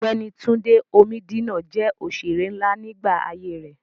Ọ̀gbẹ́ni Túndé Omídínà jẹ́ òṣèré nlá nígbà ayé rẹ̀